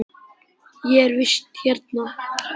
Ég er í vist hérna.